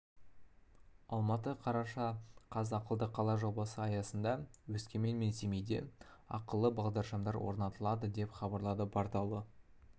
алматы қараша қаз ақылды қала жобасы аясында өскемен мен семейде ақылды бағдаршамдар орнатылады деп хабарлады порталы